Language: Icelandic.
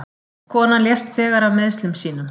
Konan lést þegar af meiðslum sínum